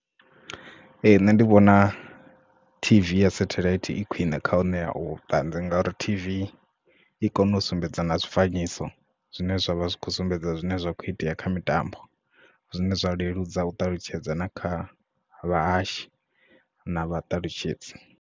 Ee nṋe ndi vhona T_V ya sathelaithi i khwine kha u ṋea vhuṱanzi ngauri T_V i kona u sumbedza na zwifanyiso zwine zwavha zwi kho sumbedza zwine zwa kho itea kha mitambo zwine zwa leludza u ṱalutshedza na kha vhahashi na vhaṱalutshedzi.